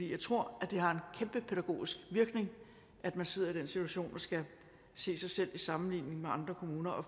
jeg tror at det har en kæmpe pædagogisk virkning at man sidder i den situation og skal se sig selv i sammenligning med andre kommuner og